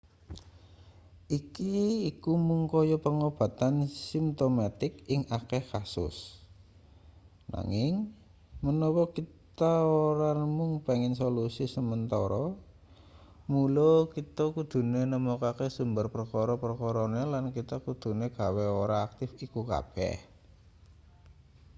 iki iku mung kaya pengobatan simtomatik ing akeh kasus nanging menawa kita ora mung pengen solusi sementara mula kita kudune nemokake sumber perkara-perkarane lan kita kudune gawe ora aktif iku kabeh